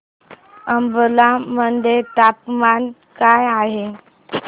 अंबाला मध्ये तापमान काय आहे